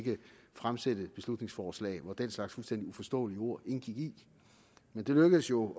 fremsætte et beslutningsforslag hvori den slags fuldstændig uforståelige ord indgik men det lykkedes jo